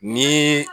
Ni